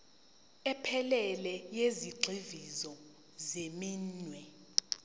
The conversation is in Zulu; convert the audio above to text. ephelele yezigxivizo zeminwe